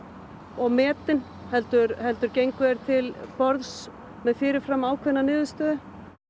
og metin heldur heldur gengu þeir til borðs með fyrir fram ákveðin niðurstöðu